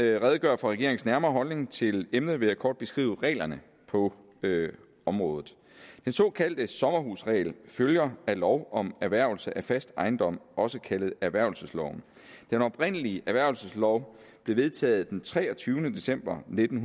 jeg redegør for regeringens nærmere holdning til emnet vil jeg kort beskrive reglerne på området den såkaldte sommerhusregel følger af lov om erhvervelse af fast ejendom også kaldet erhvervelsesloven den oprindelige erhvervelseslov blev vedtaget den treogtyvende december nitten